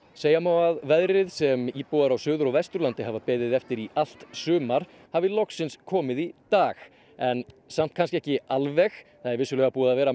segja má að veðrið sem íbúar á Suður og Vesturlandi hafa beðið eftir í allt sumar hafi loksins komið í dag en samt kannski ekki alveg það er vissulega búið að vera